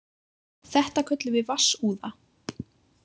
Þetta köllum við vatnsúða.